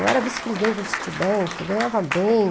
Eu era vice-presidente do Citibank, ganhava bem.